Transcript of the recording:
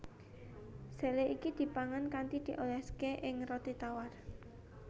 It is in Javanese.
Sele iki dipangan kanthi dioléské ing roti tawar